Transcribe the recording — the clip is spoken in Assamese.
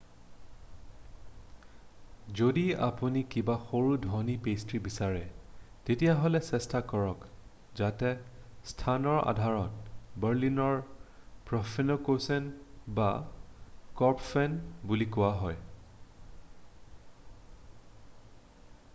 "যদি আপুনি কিবা সৰু ধনী পেষ্ট্ৰী বিচাৰে তেতিয়াহলে চেষ্টা কৰক যাতে স্থানৰ আধাৰত বাৰ্লিনাৰ প্ৰফেননকোচেন বা কৰ্পফেন বুলি কোৱা হয় ।""